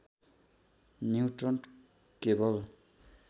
neutron केवल